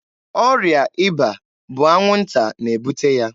Ọrịa ịba bụ anwụnta na-ebute ya.